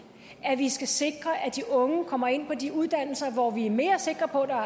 at vi skal sikre at de unge kommer ind på de uddannelser hvor vi er mere sikre på at der er